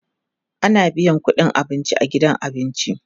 ana biyan ƙudin abinci a gidan abinci